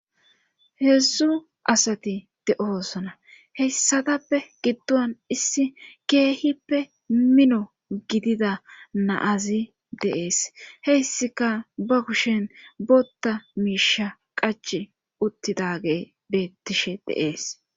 heedzdzu asati de7osona heyssatappe giddon issi keehippe mino gidida naazi deees heyssika ba kushen botta miisha qachi uttidagey beettishe de,es